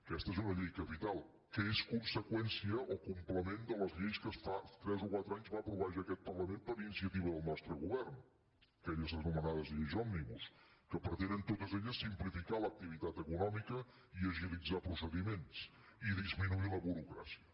aquesta és una llei capital que és conseqüència o complement de les lleis que fa tres o quatre anys va aprovar ja aquest parlament per iniciativa del nostre govern aquelles anomenades lleis òmnibus que pretenen totes elles simplificar l’activitat econòmica i agilitzar procediments i disminuir la burocràcia